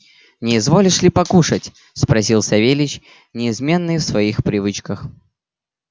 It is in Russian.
не изволишь ли покушать спросил савельич неизменный в своих привычках